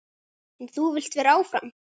En þú vilt vera áfram?